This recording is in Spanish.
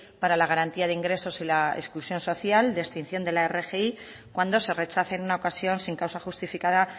para la garantía de ingresos y la inclusión social de extinción de la rgi cuando se rechace en una ocasión sin causa justificada